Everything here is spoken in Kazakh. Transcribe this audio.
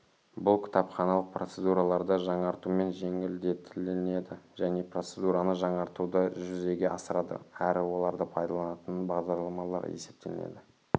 бұл кітапханалық процедураларды жаңартумен жеңілдетілінеді және процедураны жаңартуды жүзеге асырады әрі оларды пайдаланатын бағдарламалар есептелінеді